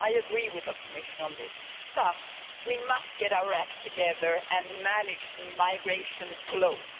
I agree with the Commissioner on this, but we must get our act together and manage migration flows.